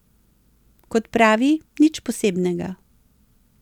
Kot pravi nič posebnega.